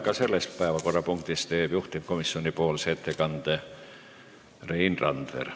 Ka selles päevakorrapunktis teeb juhtivkomisjoni ettekande Rein Randver.